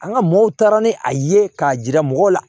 An ka mɔgɔw taara ni a ye k'a jira mɔgɔw la